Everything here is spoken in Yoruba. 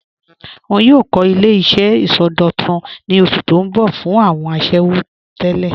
Wọn yòò kọ̀ ilẹ̀-iṣẹ̀ isọdọ̀tún ní osù tó n bọ̀ fún awọn àṣẹwo tẹlẹ.